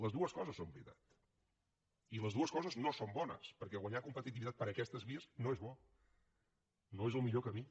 les dues coses són veritat i les dues coses no són bones perquè guanyar competitivitat per aquestes vies no és bo no és el millor camí